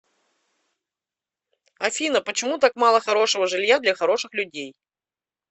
афина почему так мало хорошего жилья для хороших людей